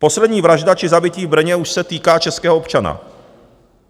Poslední vražda či zabití v Brně už se týká českého občana.